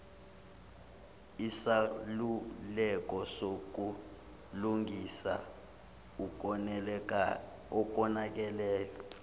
isaluleko sokulungisa okonakeleyo